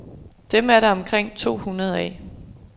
Dem er der omkring to hundrede af.